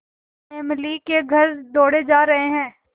कायमअली के घर दौड़े जा रहे हैं